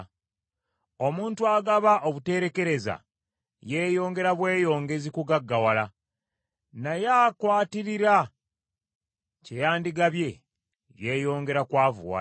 Omuntu agaba obuteerekereza, yeeyongera bweyongezi kugaggawala; naye akwatirira kye yandigabye, yeeyongera kwavuwala.